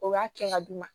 O y'a kɛ ka d'u ma